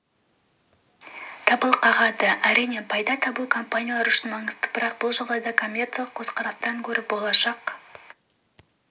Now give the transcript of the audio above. дабыл қағады әрине пайда табу компаниялар үшін маңызды бірақ бұл жағдайда коммерциялық көзқарастан гөрі болашақ